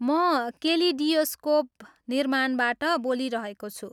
म केलिडियोस्कोप निर्माणबाट बोलिरहेको छु।